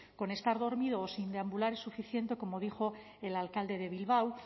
con estar dormido o sin deambular es suficiente como dijo el alcalde de bilbao o